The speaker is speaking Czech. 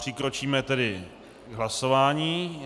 Přikročíme tedy k hlasování.